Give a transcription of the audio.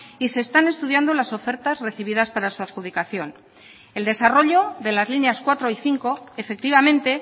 y se están estudiando las ofertas recibidas para su adjudicación el desarrollo de las líneas cuatro y cinco efectivamente